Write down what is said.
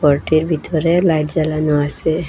গরটির ভিতরে লাইট জ্বালানো আসে।